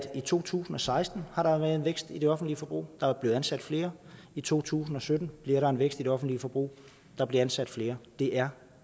i to tusind og seksten har været en vækst i det offentlige forbrug og der er blevet ansat flere i to tusind og sytten bliver der en vækst i det offentlige forbrug og der bliver ansat flere det er